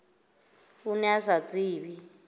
o ne o sa tsebe